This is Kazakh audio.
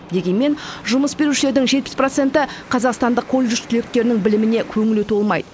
дегенмен жұмыс берушілердің жетпіс проценті қазақстандық колледж түлектерінің біліміне көңілі толмайды